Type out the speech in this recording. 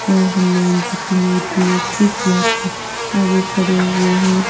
और हनुमान जी की मूर्ति कुछ भक्त आगे खड़े हुए हैं।